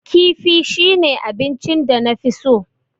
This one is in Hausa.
Kifi shine abinchin danafi so.